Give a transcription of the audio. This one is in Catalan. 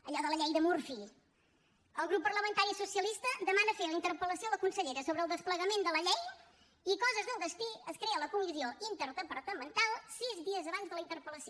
allò de la llei de murphy el grup parlamentari socialista demana fer la interpel·lació a la consellera sobre el desplegament de la llei i coses del destí es crea la comissió interdepartamental sis dies abans de la interpel·lació